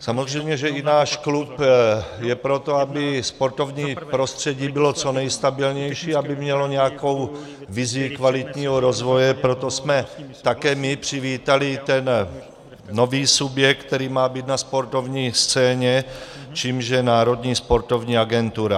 Samozřejmě že i náš klub je pro to, aby sportovní prostředí bylo co nejstabilnější, aby mělo nějakou vizi kvalitního rozvoje, proto jsme také my přivítali ten nový subjekt, který má být na sportovní scéně, čímž je Národní sportovní agentura.